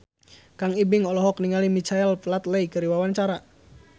Kang Ibing olohok ningali Michael Flatley keur diwawancara